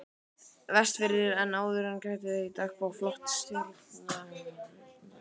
Vestfirði en áður er getið í dagbók flotastjórnarinnar